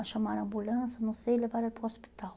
Aí chamaram a ambulância, não sei, levaram ele para o hospital.